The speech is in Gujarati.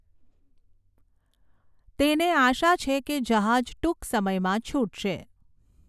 તેને આશા છે કે જહાજ ટૂંક સમયમાં છૂટશે.